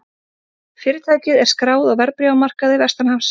Fyrirtækið er skráð á verðbréfamarkaði vestanhafs